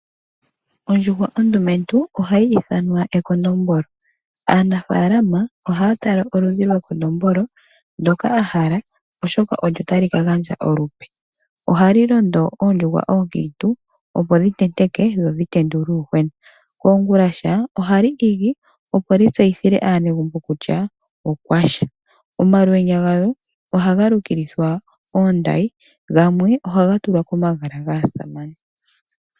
Ondjuhwa ondumentu ohayi ithanwa ekondombolo. Aanafaalama ohaya tala oludhi lwekondombolo ndoka a hala oshoka olyo tali ka gandja olupe. Oha li londo oondjuhwa ookiintu opo dhi tenteke dho dhi tendule uuyuhwena. Koongulasha oha li igi opo li tseyithile aanegumbo kutya okwa sha. Omalwenya galyo ohaga lukilithwa oondayi gamwe ohaga tulwa komagala gaasamane.